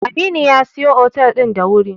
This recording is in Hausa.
Aminu ya iso otel din da wuri.